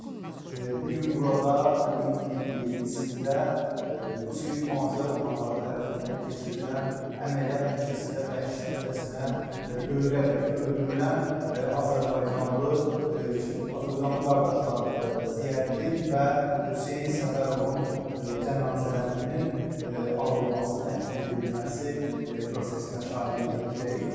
Bu gün burada iyunun 27-də Rusiya hüquq-mühafizə orqanları tərəfindən keçirilən əməliyyat nəticəsində vəhşicəsinə döyülərək öldürülən azərbaycanlı, iki azərbaycanlı qardaşlar Ziyəddin və Hüseyn Səfərovun cənazələrinin alınması, təhvil verilməsi prosesinə şahidlik edəcəyik.